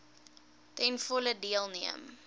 ten volle deelneem